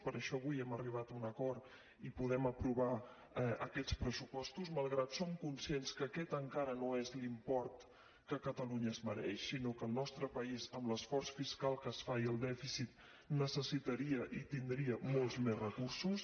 per això avui hem arribat a un acord i podem aprovar aquests pressupostos malgrat que som conscients que aquest encara no és l’import que catalunya es mereix sinó que el nostre país amb l’esforç fiscal que es fa i el dèficit necessitaria i tindria molts més recursos